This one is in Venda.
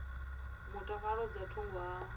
mutakalo dza nga thungo ha